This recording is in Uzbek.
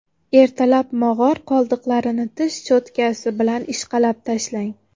Ertalab mog‘or qoldiqlarini tish cho‘tkasi bilan ishqalab tashlang.